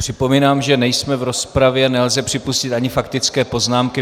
Připomínám, že nejsme v rozpravě, nelze připustit ani faktické poznámky.